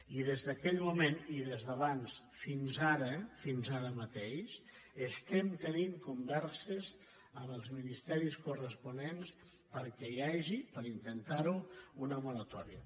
i des d’aquell moment i des d’abans fins ara fins ara mateix estem tenint converses amb els ministeris corresponents perquè hi hagi per intentar ho una moratòria